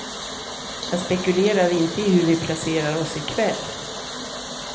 Jag spekulerar inte i hur vi placerar oss i kväll.